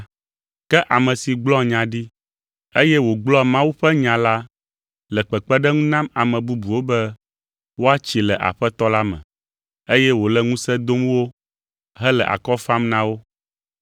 Ke ame si gblɔa nya ɖi, eye wògblɔa Mawu ƒe nya la le kpekpeɖeŋu nam ame bubuwo be woatsi le Aƒetɔ la me, eye wòle ŋusẽ dom wo, hele akɔ fam na wo.